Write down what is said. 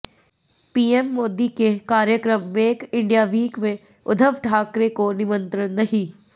PM Modi के कार्यक्रम make India week में उद्धव ठाकरे को निमंत्रण नहीं